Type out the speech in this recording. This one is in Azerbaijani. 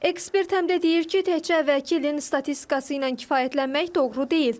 Ekspert həm də deyir ki, təkcə əvvəlki ilin statistikası ilə kifayətlənmək doğru deyil.